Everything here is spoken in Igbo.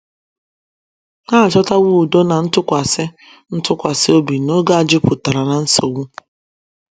Ha achọtawo udo na ntụkwasị ntụkwasị obi n’oge a jupụtara ná nsogbu.